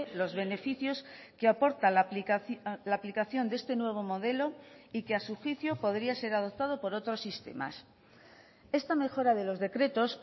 los beneficios que aporta la aplicación de este nuevo modelo y que a su juicio podría ser adoptado por otros sistemas esta mejora de los decretos